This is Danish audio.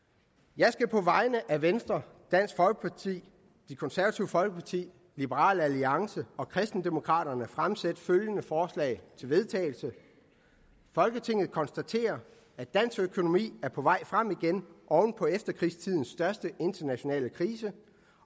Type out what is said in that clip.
jeg skal på vegne af venstre dansk folkeparti det konservative folkeparti liberal alliance og kristendemokraterne fremsætte følgende forslag til vedtagelse folketinget konstaterer at dansk økonomi er på vej frem igen oven på efterkrigstidens største internationale krise